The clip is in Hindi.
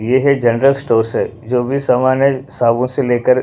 ये है जनरल स्टोर से जो भी सामान है साबुन से लेकर--